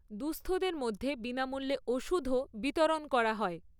দুঃস্থদের মধ্যে বিনামূল্যে ওষুধও বিতরণ করা হয়।